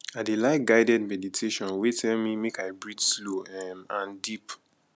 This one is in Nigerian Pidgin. i dey like guided meditation wey tell me make i breathe slow um and deep